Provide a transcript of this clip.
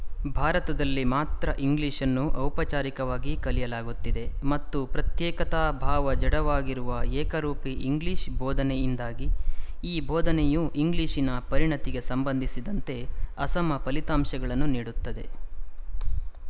ಭಾರತದಲ್ಲಿ ಮಾತ್ರ ಇಂಗ್ಲಿಶ್‌ನ್ನು ಔಪಚಾರಿಕವಾಗಿ ಕಲಿಯಲಾಗುತ್ತಿದೆ ಮತ್ತು ಪ್ರತ್ಯೇಕತಾಭಾವದ ಜಡವಾಗಿರುವ ಏಕರೂಪೀ ಇಂಗ್ಲಿಶ ಬೋಧನೆಯಿಂದಾಗಿ ಈ ಬೋಧನೆಯು ಇಂಗ್ಲಿಶಿನ ಪರಿಣಿತಿಗೆ ಸಂಬಂಧಿಸಿದಂತೆ ಅಸಮ ಫಲಿತಾಂಶಗಳನ್ನು ನೀಡುತ್ತದೆ